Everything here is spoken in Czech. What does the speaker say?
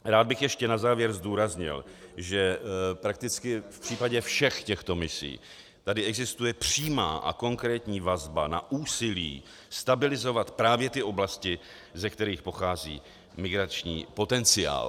Rád bych ještě na závěr zdůraznil, že prakticky v případě všech těchto misí tady existuje přímá a konkrétní vazba na úsilí stabilizovat právě ty oblasti, ze kterých pochází migrační potenciál.